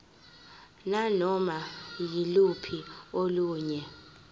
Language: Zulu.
nanoma yiluphi olunye